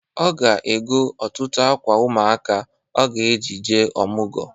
Ọ ga-ego ọtụtụ akwa ụmụaka ọ ga-eji jee ọmụgọ.